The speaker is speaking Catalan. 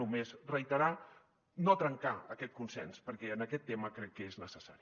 només reiterar no trencar aquest consens perquè en aquest tema crec que és necessari